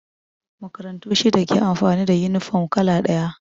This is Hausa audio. Makarantu shida ke amfani da yunifom kala ɗaya